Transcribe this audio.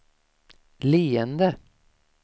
leende